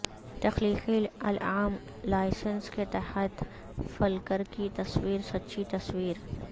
تخلیقی العام لائسنس کے تحت فلکر کی تصویر سچی تصویر